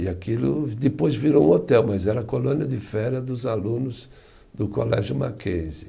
E aquilo depois virou um hotel, mas era a colônia de férias dos alunos do Colégio Mackenzie